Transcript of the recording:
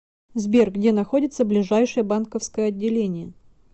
сбер где находится ближайшее банковское отделение